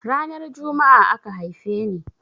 Ranar Jumma'a aka haife ni.